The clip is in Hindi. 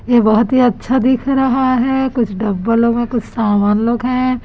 ये बहोत ही अच्छा दिख रहा है कुछ डब्बलों में कुछ सामान लोग हैं।